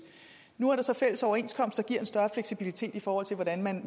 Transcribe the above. nu er der så fælles overenskomster giver en større fleksibilitet i forhold til hvordan man